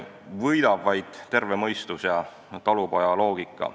Võidab vaid terve mõistus ja talupojaloogika.